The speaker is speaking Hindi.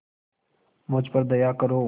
मुझ पर दया करो